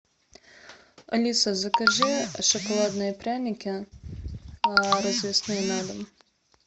алиса закажи шоколадные пряники развесные на дом